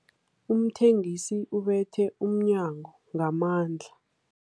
Umthengisi ubethe umnyango ngamandla.